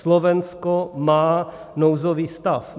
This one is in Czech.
Slovensko má nouzový stav.